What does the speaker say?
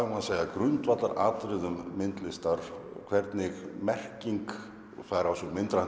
grundvallaratriðum myndlistar hvernig merking fær á sig myndrænt